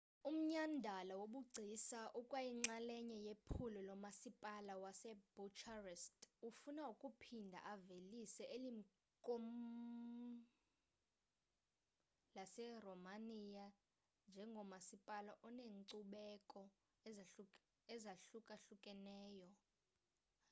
umnyhadala wobugcisa ukwayinxalenye yephulo lomasipala wasbucharest ofuna ukuphinda avelise eli komkhulu laseromania njengomasipala oneenkcubeko ezahlukahlukeneyo